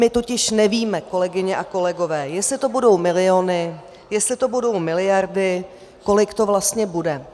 My totiž nevíme, kolegyně a kolegové, jestli to budou miliony, jestli to budou miliardy, kolik to vlastně bude.